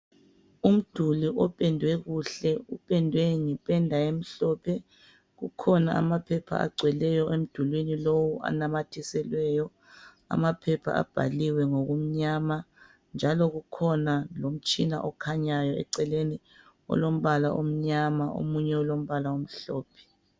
Umduli opendwe kuhle .Upendwe ngependa emhlophe .Kukhona amaphepha agcweleyo emdulini lowu anamathiselweyo .Amaphepha abhaliwe ngokumnyama. Njalo kukhona lomtshina okhanyayo eceleni olombala omnyama omunye ulombala omhlophe .